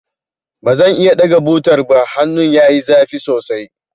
Ba zan iya ɗaga butar ba, hannun yayi zafi sosai.